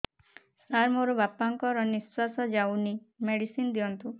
ସାର ମୋର ବାପା ଙ୍କର ନିଃଶ୍ବାସ ଯାଉନି ମେଡିସିନ ଦିଅନ୍ତୁ